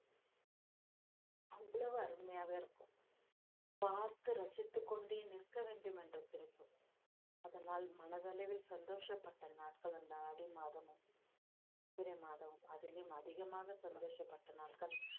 அவ்வளவு அருமையாக இருக்கும் பார்த்து ரசித்துக் கொண்டே நிற்க வேண்டும் என்ற அதனால் மனதளவில் சந்தோஷப்பட்ட நாட்கள் அந்த ஆடி மாதமும் சித்திரை மாதம் அதிலும் அதிகமாக சந்தோஷப்பட்ட நாட்கள்